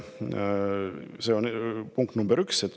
See on punkt üks.